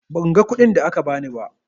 Ban ga kuɗin da aka ba ni ba.